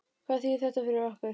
Hvað þýðir þetta fyrir okkur?